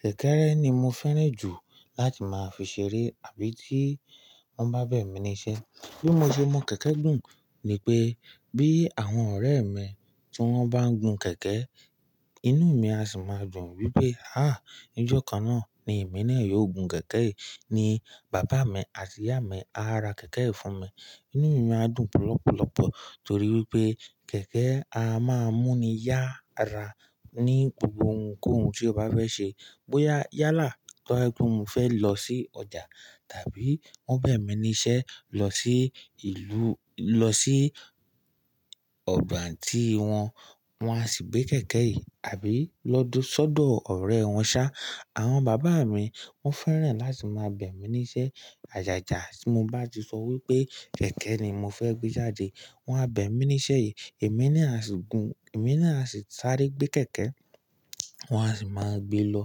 kẹ̀kẹ́ rẹ ni mo fẹ́ràn jù láti máa fi ṣeré àbí tí wọ́n bá bẹ̀ mí níṣẹ́. Bí mo ṣe mọ kẹ̀kẹ́ gùn ni pé bí àwọn ọ̀rẹ́ mi tí wọ́n bá ń gun kẹ̀kẹ́, inú mi á sì máa dùn wípé, à ní ọjọ́ kan náà ni èmi náà yóò gun kẹ̀kẹ́ yìí, ní bàbá mi àti ìyá mi á ra kẹ̀kẹ́ yìí fún mi. Inú mi máa dùn lọpọpọlọ torí wípé kẹ̀kẹ́ a máa ń múni yára ní gbogbo ohunkóhun tí o bá fẹ́ ṣe. Bóyá yálà tó ba mo fẹ́ lọ sí ọjà tàbí wọ́n bẹ̀ mí níṣẹ́ lọ sí ìlú, lọ sí odo aunty wọn, wọn á sì gbé kẹ̀kẹ́ yìí àbí lọ sódò ọ̀rẹ́ wọn ṣá. Àwọn bàbá mi wọ́n fẹ́ràn láti máa bẹ̀ mí níṣẹ́ àjàjà bí mo bá ti sọ wípé kẹ̀kẹ́ ni mo fẹ́ gbé jáde. Wọn á bẹ̀ mí níṣẹ́ yìí, èmi ni a sì gun, èmi ni a sì sáré gbé kẹ̀kẹ́, wọn á sì máa gbé lọ